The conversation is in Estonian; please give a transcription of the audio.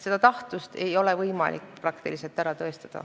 Tahtlust ei ole võimalik praktiliselt ära tõestada.